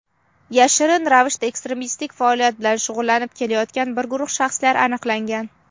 yashirin ravishda ekstremistik faoliyat bilan shug‘ullanib kelayotgan bir guruh shaxslar aniqlangan.